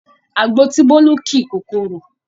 Àgbo tí Bólú ki kò korò